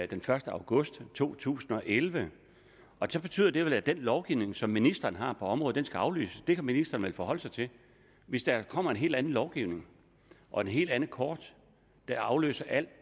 den første august to tusind og elleve så betyder det vel at den lovgivning som ministeren har på området skal aflyses det kan ministeren vel forholde sig til hvis der kommer en helt anden lovgivning og et helt andet kort der afløser alt